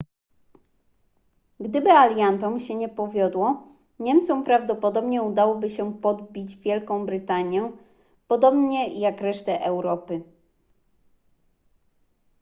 gdyby aliantom się nie powiodło niemcom prawdopodobnie udałoby się podbić wielką brytanię podobnie jak resztę europy